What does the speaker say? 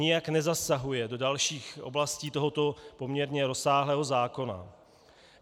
Nijak nezasahuje do dalších oblastí tohoto poměrně rozsáhlého zákona.